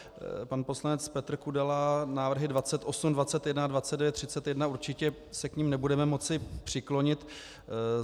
Pan poslanec Petr Kudela: návrhy 28, 21, 29, 31 - určitě se k nim nebudeme moci přiklonit.